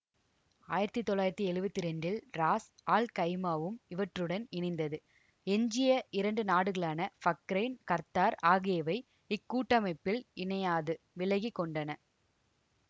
ஆயிரத்தி தொள்ளாயிரத்தி எழுவத்தி இரண்டில் ராஸ் அல்கைமாவும் இவற்றுடன் இணைந்தது எஞ்சிய இரண்டு நாடுகளான பஹ்ரைன் கத்தார் ஆகியவை இக் கூட்டமைப்பில் இணையாது விலகி கொண்டன